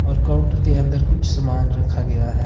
और काउंटर के कुछ सामान रखा गया है।